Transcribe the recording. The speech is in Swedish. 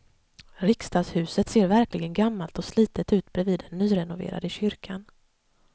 Riksdagshuset ser verkligen gammalt och slitet ut bredvid den nyrenoverade kyrkan.